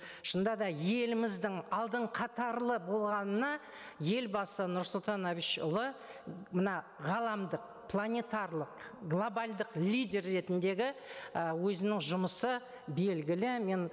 шынында да еліміздің алдын қатарлы болғанына елбасы нұрсұлтан әбішұлы мына ғаламдық планетарлық глобалдық лидер ретіндегі і өзінің жұмысы белгілі мен